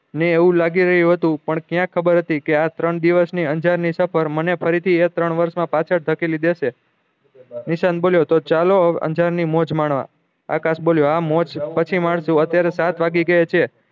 ને એવું લાગી રહ્યું હતું પણ ક્યાં ખબર હતી આ ત્રણ દિવસ ની અંજાર ની સફળ મને ફરી થી એ ત્રણ વર્ષ મા પાછા ધકેલી દેશે નિશાંત બોલ્યો તો ચાલો અંજાર ની મોજ માળવા આકાશ બોલ્યો હા મોજ પછી મારજો અત્યારે સાત વાગી ગયા છે